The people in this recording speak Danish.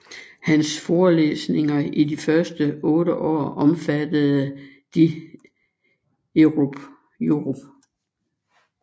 Hans Forelæsninger i de første 8 år omfattede de europ